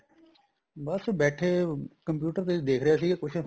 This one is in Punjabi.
ਬੱਸ ਬੈਠੇ computer ਤੇ ਦੇਖ ਰਿਹਾ ਸੀ ਕੁੱਝ